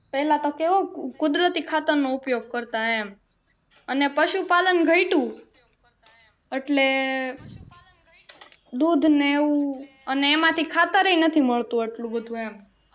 પહેલા તો કેવું કુદરતી ખાતર નો ઉપયોગ કરતા એમ અને પશુપાલન ઘટ્યું એટલે દૂધ ને એવું અને એમાંથી ખાતર એ નથી મળતું એટલું બધું એમ